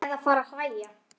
Eða fara að hlæja.